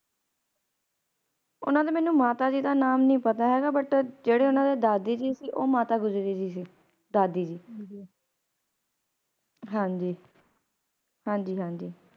ਓਹਨਾ ਦੇ ਮੈਨੂੰ ਮਾਤਾ ਜੀ ਦਾ ਨਾਂ ਨੀ ਪਤਾ ਹੇਗਾ But ਜਿਹੜੇ ਓਹਨਾ ਦੇ ਦਾਦੀ ਜੀ ਸੀ ਉਹ ਮਾਤਾ ਗੁਜਰੀ ਜੀ ਸੀ ਦਾਦੀ ਜੀ ਹਾਂਜੀ ਹਾਂਜੀ ਹਾਂਜੀ